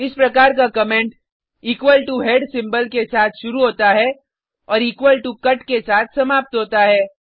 इस प्रकार का comment equal to head symbol के साथ शुरू होता है और इक्वल टो कट के साथ समाप्त होता है